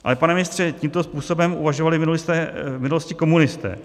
Ale pane ministře, tímto způsobem uvažovali v minulosti komunisté.